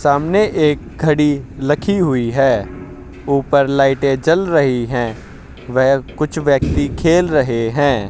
सामने एक घड़ी लखी हुई है ऊपर लाइटें जल रही हैं वेह कुछ व्यक्ती खेल रहे हैं।